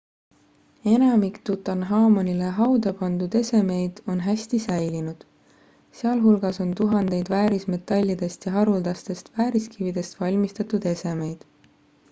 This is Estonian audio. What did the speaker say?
enamik tutanhamonile hauda pandud esemeid on hästi säilinud sealhulgas on tuhandeid väärismetallidest ja haruldastest vääriskividest valmistatud esemeid